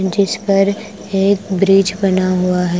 जिस पर एक ब्रिज बना हुआ है।